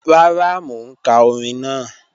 Rara, mo n ka ọ̀rìn naa.